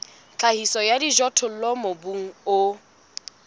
tlhahiso ya dijothollo mobung o